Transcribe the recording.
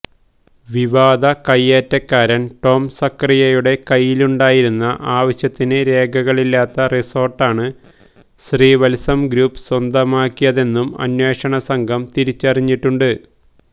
വിവാദ കയ്യേറ്റക്കാരന് ടോം സഖറിയയുടെ കയ്യിലുണ്ടായിരുന്ന ആവശ്യത്തിന് രേഖകളില്ലാത്ത റിസോര്ട്ടാണ് ശ്രീവത്സം ഗ്രൂപ്പ് സ്വന്തമാക്കിയതെന്നും അന്വേഷണ സംഘം തിരിച്ചറിഞ്ഞിട്ടുണ്ട്